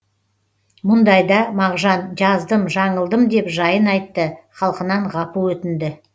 мұндайда мағжан жаздым жаңылдым деп жайын айтты халқынан ғапу өтінді